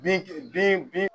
Bin bin bin